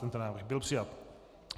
Tento návrh byl přijat.